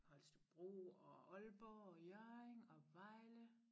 Holstebro og Aalborg og Hjørring og Vejle